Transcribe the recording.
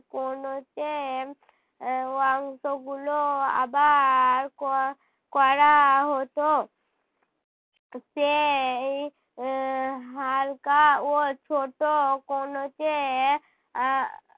এর অংশগুলো আবার ক~ করা হতো। সেই এর হালকা ও ছোট কোনোচে আহ